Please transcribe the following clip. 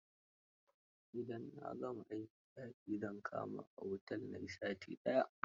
Idan na gama aikin, daki zan kama a otel na yi sati.